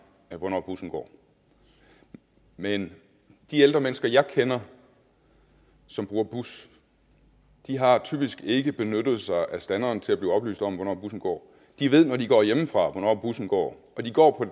hvornår bussen går men de ældre mennesker jeg kender som bruger bus har typisk ikke benyttet sig af standeren til at blive oplyst om hvornår bussen går de ved når de går hjemmefra hvornår bussen går og de går